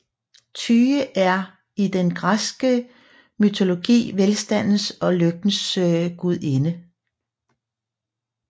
Tyche er i den græske mytologi velstandens og lykkens gudinde